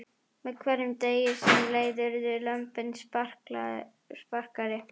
Með hverjum degi sem leið urðu lömbin spakari.